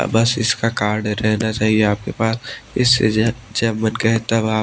बस इसका कार्ड रहना चाहिए आपके पास इससे जब मन कहे तब --